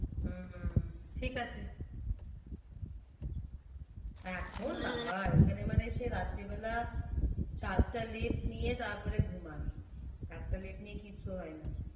হম ঠিক আছে। এখন বাবা এইখানে মানে সেই রাত্রে বেলা সাতটা লেপ নিয়ে তারপরে ঘুমায়। সাতটা লেপ নিয়ে কিচ্ছু হয় না।